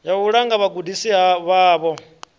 ya u langa vhagudisi vhavho